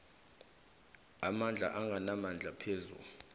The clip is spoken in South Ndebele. amabandla anganamandla phezu